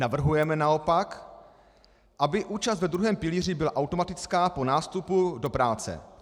Navrhujeme naopak, aby účast ve druhém pilíři byla automatická po nástupu do práce.